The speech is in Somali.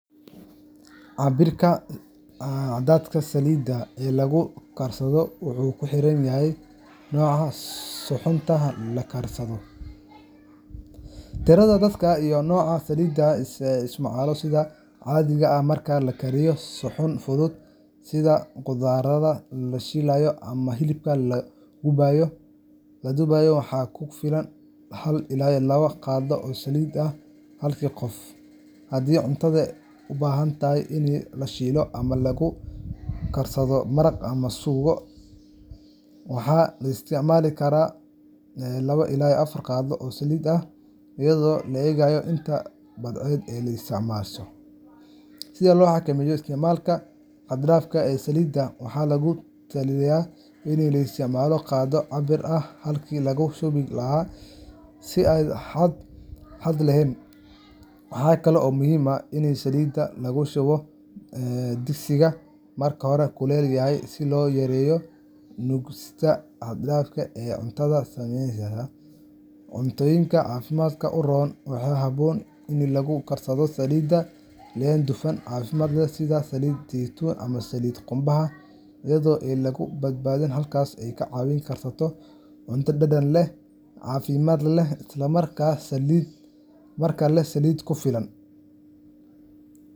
Cabbirka cadadka saliidda ee wax lagu karsado wuxuu ku xiran yahay nooca suxuunta la karinayo, tirada dadka, iyo nooca saliidda la isticmaalayo. Sida caadiga ah, marka la karinayo suxuun fudud sida khudradda la shiilayo ama hilibka la dubayo, waxaa ku filan hal ilaa laba qaado oo saliid ah halkii qof. Haddii cuntada u baahan tahay in la shiilo ama lagu karsado maraq ama suugo, waxaa la isticmaali karaa laba ilaa afar qaado oo saliid ah, iyadoo la eegayo inta badeecad ah ee la isticmaalayo. Si loo xakameeyo isticmaalka xad-dhaafka ah ee saliidda, waxaa lagu talinayaa in la isticmaalo qaaddo cabbir ah halkii laga shubi lahaa si aan xad lahayn. Waxaa kale oo muhiim ah in saliidda lagu shubo digsiga marka hore kulul yahay, si loo yareeyo nuugista xad-dhaafka ah ee cuntadu sameyso. Cuntooyinka caafimaadka u roon waxaa habboon in lagu karsado saliidaha leh dufan caafimaad leh sida saliid saytuun ama saliid qumbaha, iyadoo aan laga badin. Habkaas ayaa kaa caawinaya in aad karsato cunto dhadhan leh, caafimaad leh, isla markaana leh saliid ku filan.